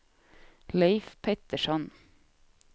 Leif Pettersson